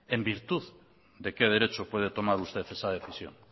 en virtud de qué derecho puede tomar usted esa decisión